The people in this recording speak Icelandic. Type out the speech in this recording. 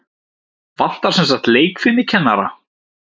Vantar semsagt leikfimikennara?